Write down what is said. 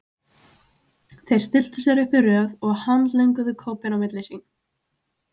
Þeir stilltu sér upp í röð og handlönguðu kópinn á milli sín.